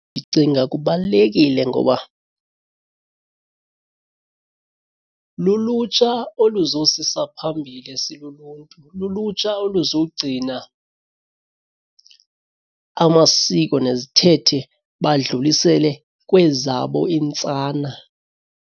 Ndicinga kubalulekile ngoba lulutsha oluzosisa phambili siluluntu lulutsha oluzogcina amasiko nezithethe badlulisele kwezabo iintsana.